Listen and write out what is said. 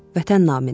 Vətən naminə.